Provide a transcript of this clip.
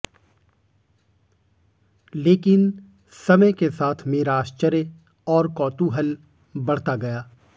लेकिन समय के साथ मेरा आश्चर्य और कौतूहल बढ़ता गया